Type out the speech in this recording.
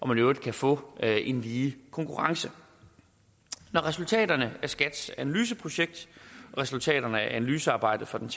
man i øvrigt kan få en lige konkurrence når resultaterne af skats analyseprojekt og resultaterne af analysearbejdet fra den